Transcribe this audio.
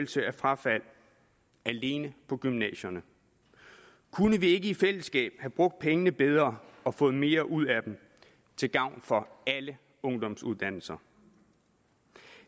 frafald alene på gymnasierne kunne vi ikke i fællesskab have brugt pengene bedre og fået mere ud af dem til gavn for alle ungdomsuddannelser